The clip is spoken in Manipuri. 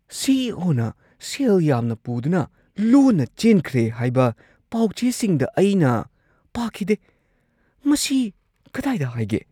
ꯁꯤ. ꯏ. ꯑꯣ. ꯅ ꯁꯦꯜ ꯌꯥꯝꯅ ꯄꯨꯗꯨꯅ ꯂꯣꯟꯅ ꯆꯦꯟꯈ꯭ꯔꯦ ꯍꯥꯏꯕ ꯄꯥꯎ-ꯆꯦꯁꯤꯡꯗ ꯑꯩꯅ ꯄꯥꯈꯤꯗꯦ ꯫ ꯃꯁꯤ ꯀꯗꯥꯏꯗ ꯍꯥꯏꯒꯦ? (ꯃꯔꯨꯞ ꯱)